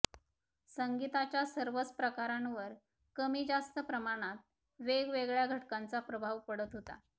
संगीताच्या सर्वच प्रकारांवर कमीजास्त प्रमाणात वेगवेगळ्या घटकांचा प्रभाव पडत होता